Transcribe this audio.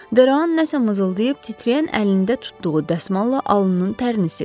Deroan nəsə mızıldayıb titrəyən əlində tutduğu dəsmalla alnının tərini sildi.